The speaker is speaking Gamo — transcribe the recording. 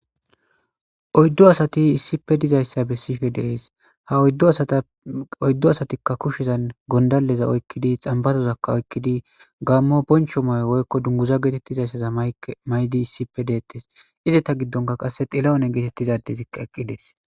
Oyiddu asati issippe dizayissa besishshe de'ees.haa oyiddu asatikka kushshezanni gonidaleezakka oyikkidi xanibarozakka oyikkidi Gamo bonchcho mayo woyikko dunguizza gettetizayissa mayida detees.